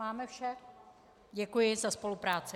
Máme vše, děkuji za spolupráci.